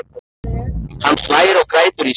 Hann hlær og grætur í senn.